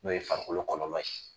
N'o ye farikolo kɔlɔlɔ ye.